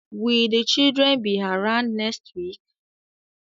Will the children be around next week?